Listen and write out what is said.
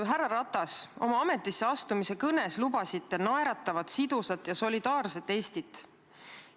Härra Ratas, oma ametisseastumise kõnes lubasite naeratavat, sidusat ja solidaarset Eestit.